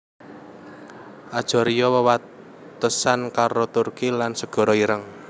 Ajaria wewatesan karo Turki lan Segara Ireng